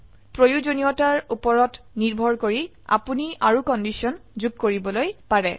প্ৰয়োজনীয়তাৰ উপৰত নিৰ্ভৰ কৰি আপোনি আৰু কন্ডিশন যোগ কৰিবলৈ পাৰে